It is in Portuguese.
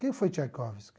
Quem foi Tchaikovsky?